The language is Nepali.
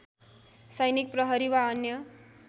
सैनिक प्रहरी वा अन्य